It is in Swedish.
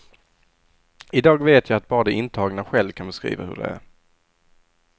I dag vet jag att bara de intagna själva kan beskriva hur det är.